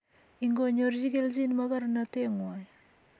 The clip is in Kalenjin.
ingonyorchi kelchin mogornoteng'wany